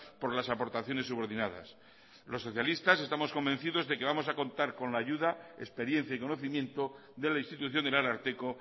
por las aportaciones subordinadas los socialistas estamos convencidos de que vamos a contar con la ayuda experiencia y conocimiento de la institución del ararteko